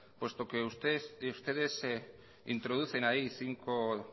puesto que ustedes introducen ahí cinco